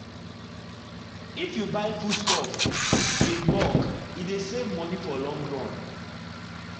if you buy foodstuff in bulk e dey save money for long run.